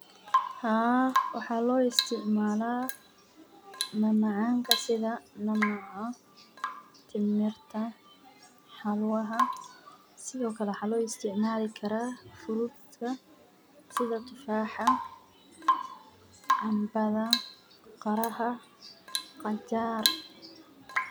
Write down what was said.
Haa waxa loo istacamala mamacanka sidha Ninaca, Timirta, Xalwaha sidiokale waxa loo istacmali kara Frutka sidaa Tufaxa, Cambada, Qiraha, Qajar.